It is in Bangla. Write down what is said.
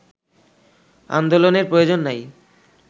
আন্দোলনের প্রয়োজন নাই